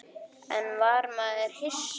En var maður hissa?